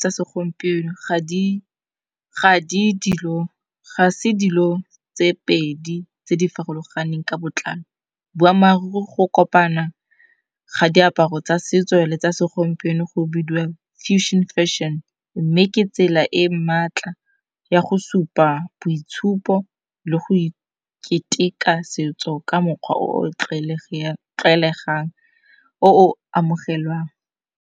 tsa segompieno ga se dilo tse pedi tse di farologaneng ka botlalo. Boamaruri go kopana ga diaparo tsa setso le tsa segompieno go bidiwa fusion fashion. Mme ke tsela e maatla ya go supa boitshupo le go keteka setso ka mokgwa o o tlwaelegang, o o amogelwang.